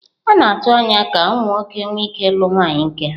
A na-atụ anya ka ụmụ nwoke nwee ike ịlụ nwunye nke ya.